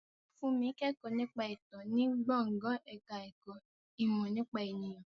Fúnmi ń kẹ́kọ̀ọ́ nípa ìtàn ní gbọ̀ngàn ẹ̀ka ẹ̀kọ́ ìmọ̀ nípa ènìyàn